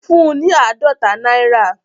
Fún un ní àádọ́ta náírà